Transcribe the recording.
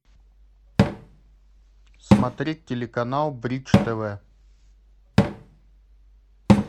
смотреть телеканал бридж тв